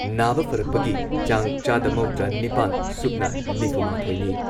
ꯅꯥꯕ ꯐꯔꯛꯄꯒꯤ ꯆꯥꯡ ꯆꯥꯗ ꯃꯧꯗ꯭ꯔꯥꯅꯤꯄꯥꯟ ꯁꯨꯞꯅ ꯅꯤꯐꯨꯃꯥꯊꯣꯏꯅꯤ ꯫